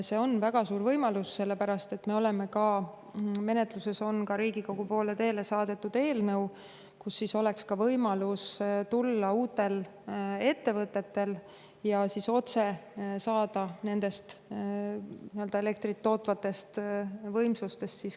See on väga suur võimalus, sellepärast et Riigikogu poole on teele saadetud ja menetluses eelnõu, mille kohaselt oleks ka uutel ettevõtetel võimalus tulla ja saada odavamat elektrit otse nendest elektrit tootvatest võimsustest.